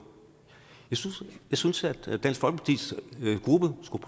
jeg synes at dansk folkepartis gruppe skulle